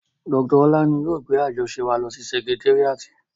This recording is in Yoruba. Dr Ọlá ni yóò gbé àjọṣe wa lọ sí sẹkitéríàtì